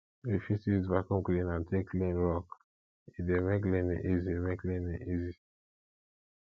we fit use vaccum cleaner take clean rug e dey make cleaning easy make cleaning easy